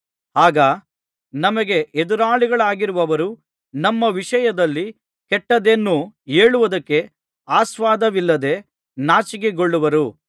ಆಗ ನಮಗೆ ಎದುರಾಳಿಗಳಾಗಿರುವವರು ನಮ್ಮ ವಿಷಯದಲ್ಲಿ ಕೆಟ್ಟದ್ದೇನೂ ಹೇಳುವುದಕ್ಕೆ ಆಸ್ಪದವಿಲ್ಲದೆ ನಾಚಿಕೊಳ್ಳುವರು